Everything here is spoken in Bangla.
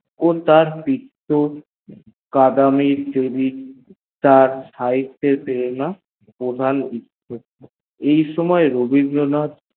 তিনি তিক্ত কড়া মেয়ে চরিত্র তার সইত্তের প্রেরণ প্রধান ছিল